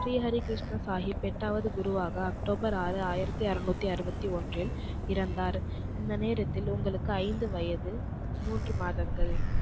ஸ்ரீ ஹரிகிருஷ்ண சாகிப் எட்டாவது குருவாக அக்டோபர் ஆறு ஆயிரத்து அருநூத்தி அறுபத்தி ஒன்றில் இறந்தார். இந்த நேரத்தில் உங்களுக்கு ஐந்து வயது மூன்று மாதங்கள்.